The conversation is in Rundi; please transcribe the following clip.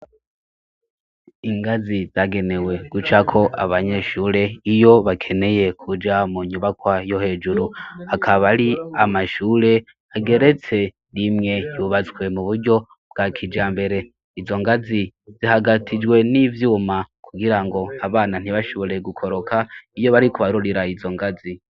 Ingazi zagenewe guca ko abanyeshure iyo bakeneye kuja mu nyubakwa yo hejuru, akaba ari amashure ageretse rimwe yubatswe mu buryo bwa kijambere, izo ngazi zihagatijwe n'ivyuma kugira ngo abana ntibashobore gukoroka iyo bari kubarurira izo ngazi.